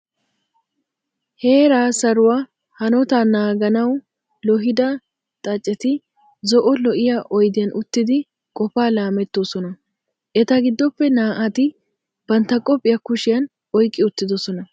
Heeraa saruwa hanota naaganawu loohida xaaceti zo"o lo"iya oydiyan uttidi qofaa laamettoosona. Eta giddoppe naa"ati bantta qophiya kushiyan oyqqi uttidosona.